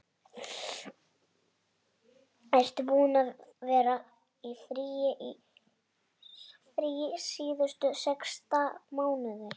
Ertu búinn að vera í fríi síðustu sex mánuði?